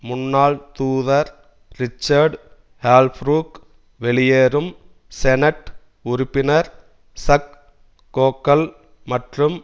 முன்னாள் தூதர் Richard Holbrooke வெளியேறும் செனட் உறுப்பினர் சக் கேகல் மற்றும்